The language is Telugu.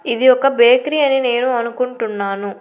ఇది ఒక బేకరి అని నేను అనుకుంటున్నాను.